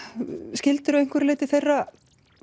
skildir þú að einhverju leyti þeirra